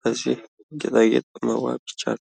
በዚህ ጌጣጌጥ መዋብ ይቻላል?